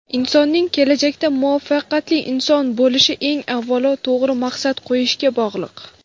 Insonning kelajakda muvaffaqiyatli inson bo‘lish eng avvalo to‘g‘ri maqsad qo‘yishga bog‘liq.